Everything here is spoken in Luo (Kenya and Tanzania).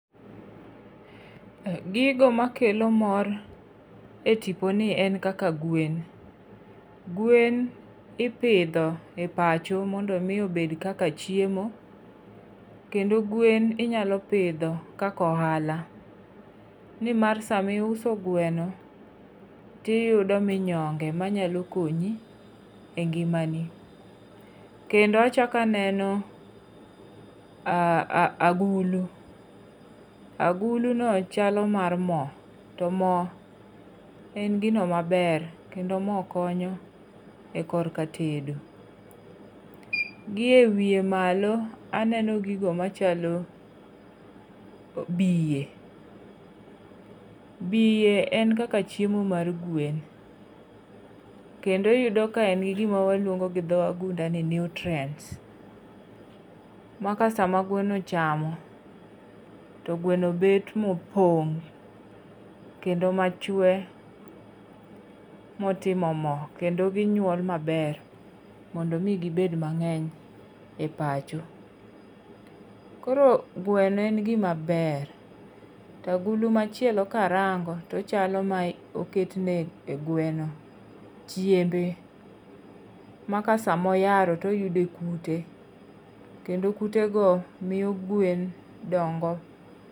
Gigo makelo mor e tipo ni en kaka gwen. Gwen ipidho e pacho mondo omi obed kaka chiemo, kendo gwen inyalo pidho kaka ohala. Ni mar sama iuso gweno tiyudo minyonge manyalo konyi e ngimani. Kendo achak aneno um agulu. Agulu no chalo mar mo. To mo en gino maber, kendo mo konyo e korka tedo. Gi e wiye malo aneno gogo machalo bie. Bie en kaka chiemo mar gwen. Kendo iyudo ka en gi gima waluongo gi dho wagunda ni nutrients. Ma ka sama gweno ochamo, to gweno bet mopong', kendo machwe. Motimo mo. Kendo ginyuol maber, mondo omi gibed mang'eny e pacho. Koro gweno en gima ber. To agulu machielo ka arango, to ochalo ma oketne e gweno chiembe. Maka sama oyaro to oyude kute. Kendo kut go miyo gwen dongo.